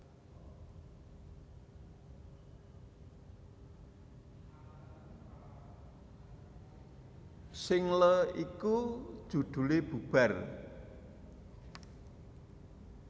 Single iki judhulé Bubar